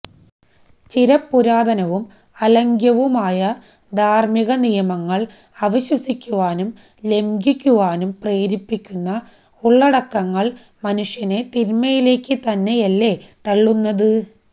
ചിരപുരാതനവും അലംഘ്യവുമായ ധാര്മ്മിക നിയമങ്ങള് അവിശ്വസിക്കുവാനും ലംഘിക്കുവാനും പ്രേരിപ്പിക്കുന്ന ഉള്ളടക്കങ്ങള് മനുഷ്യനെ തിന്മയിലേക്ക് തന്നെയല്ലേ തള്ളുന്നത്